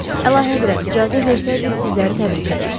Əlahəzrət icazə versəydi, sizləri təbrik edərdim.